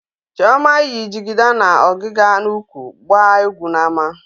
Chioma yi jigida na ọgịga n'úkwù gbaa egwu n'ámá.